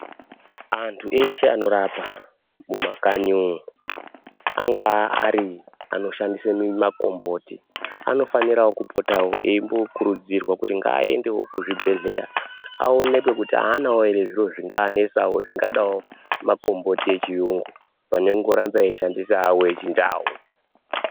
Andu eshe anorapa mumakanyi umu angaa Ari anoshandise makomboti anofanirawo kupotawo eyimbokurudzirwa kuti ngaendewo kuzvibhedhleya awonekwewo kuti ahanawo zviro zvingaanetsawo zvingadawo makomboti echiyungu pane kungoramba eyishandisa awo echiNdau.